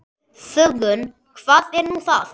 Þöggun, hvað er nú það?